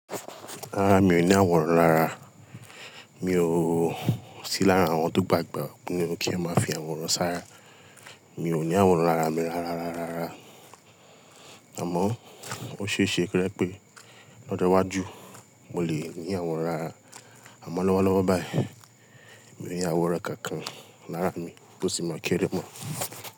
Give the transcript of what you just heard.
Rárá mi ò ní àwòrán rárá, mi ò sí lára àwọn tó gbàgbó pé kí a máa fi àwòrán sára. Mi ò ní àwòrán árá mi rárárara, àmọ́ ó ṣeéṣe ko jé pé lọ́jọ́ iwájú mo lè ní àwòrán árá, àmọ́ lọ́wọ́lọ́wọ́ báyìí mi ò ní àwòrán kankan lára mi bó sì mọ kíere bọ̀